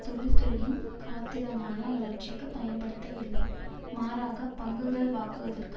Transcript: தொழில்துறையின் காத்திரமான வளர்ச்சிக்கு பயன்படுத்தவில்லை மாறாக பங்குகள் வாங்குவதற்கு